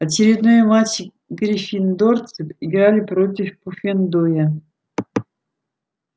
очередной матч гриффиндорцы играли против пуффендуя